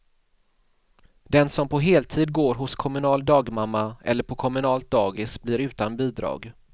Den som på heltid går hos kommunal dagmamma eller på kommunalt dagis blir utan bidrag.